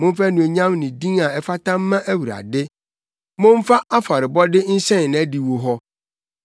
Momfa anuonyam ne din a ɛfata mma Awurade; momfa afɔrebɔde nhyɛn nʼadiwo hɔ.